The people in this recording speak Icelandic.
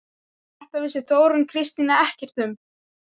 En þetta vissi Þórunn Kristín ekkert um.